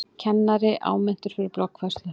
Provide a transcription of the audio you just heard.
Kennari áminntur fyrir bloggfærslu